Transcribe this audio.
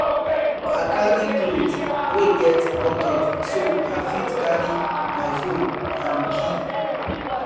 i carry cloth wey get pocket so i fit carry my phone and key